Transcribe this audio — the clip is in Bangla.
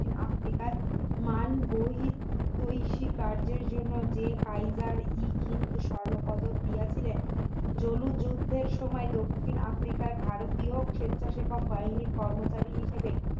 আফ্রিকার মান দৈহিক দৈসী কার্যের জন্য যে কারিগর হিন্দ স্বর্ণপদক দিয়েছিলেন জুলু যুদ্ধের সময় দক্ষিণ আফ্রিকার ভারতীয় স্বেচ্ছাসেবক বাহিনীর কর্মকারী হিসাবে